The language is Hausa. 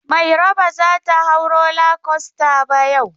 Mairo ba za ta hau roller coaster ba yau.